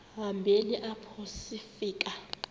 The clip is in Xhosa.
hambeni apho sifika